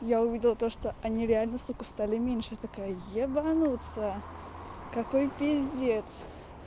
я увидела то что они реально сука стали меньше я такая ебануться какой пиздец